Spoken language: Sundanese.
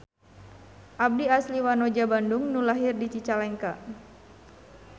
Abdi asli wanoja Bandung nu lahir di Cicalengka.